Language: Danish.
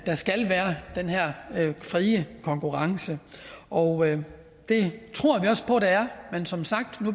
skal være den her frie konkurrence og det tror vi også på der er men som sagt